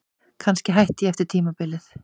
Kannski hætti ég eftir tímabilið.